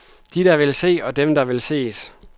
De, der vil se, og dem, der vil ses.